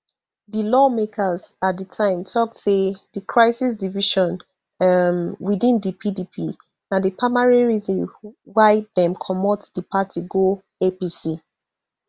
di lawmakers at di time tok say di crisis division um within di pdp na di primary reason why dem comot di party go apc